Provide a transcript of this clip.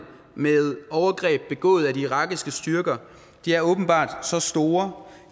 med overgreb begået af de irakiske styrker er åbenbart så store